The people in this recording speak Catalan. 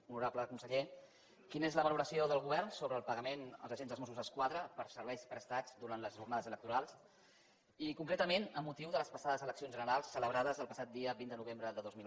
honorable conseller quina és la valoració del govern sobre el pagament als agents dels mossos d’esquadra pels serveis prestats durant les jornades electorals i concretament amb motiu de les passades eleccions generals celebrades el passat dia vint de novembre de dos mil onze